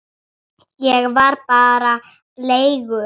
Ég var bara leigu